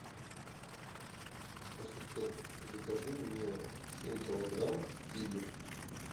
ассистент закажи мне семь килограмм киви